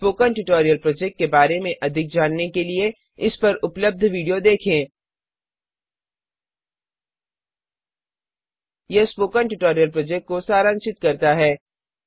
spoken tutorial project के बारे में अधिक जानने के लिए इस पर उपलब्ध वीडियो देखें httpspoken tutorialorgWhat is a Spoken Tutorial यह स्पोकन ट्यूटोरियल प्रोजेक्ट को सारांशित करता है